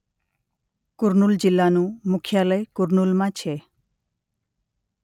કુર્નૂલ જિલ્લાનું મુખ્યાલય કુર્નૂલમાં છે.